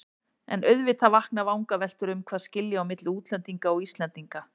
En auðvitað vakna vangaveltur um hvað skilji á milli útlendinga og Íslendinga.